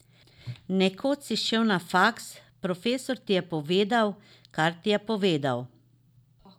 Nekoč si šel na faks, profesor ti je povedal, kar ti je povedal.